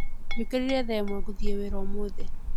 Njũkĩrire thaa ĩmwe gũthiĩ wĩra ũmũthĩ